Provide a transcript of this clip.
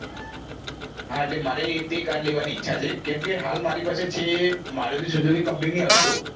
હા એટલે મારે તે car લેવા ઈ ઈચ્છા છે કેમકે હાલ મારી પાશે છે maruti suzuki company ની alto